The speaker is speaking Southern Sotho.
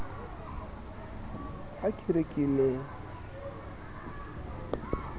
ha ke re ke ne